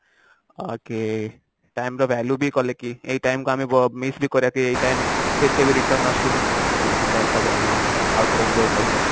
ଆଉ କିଏ time ର value ବି କଲେ କି ଏଇ time କୁ ଆମେ miss ବି କଲେ କି ଏଇ time ଫିର କେବେ return ଆସୁ ଏମିତି time ଟାକୁ ଆମେ ଆଉ ଥରେ enjoy କରୁ